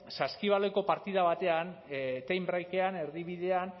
saskibaloiko partida batean time breakean erdibidean